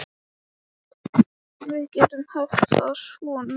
Við gætum haft það svo notalegt.